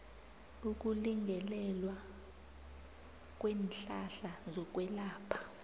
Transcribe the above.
ukulingelelwa kweenhlahla zokwelapha